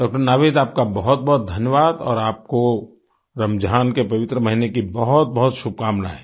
डॉ० नावीद आपका बहुतबहुत धन्यवाद और आपको रमजान के पवित्र महीने की बहुतबहुत शुभकामनाएँ